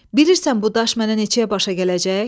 Bilirsən bu daş mənə neçəyə başa gələcək?